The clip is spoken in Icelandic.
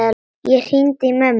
Ég hringdi í mömmu.